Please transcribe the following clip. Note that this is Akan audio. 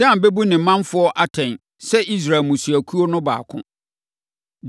“Dan bɛbu ne manfoɔ atɛn sɛ Israel mmusuakuo no baako.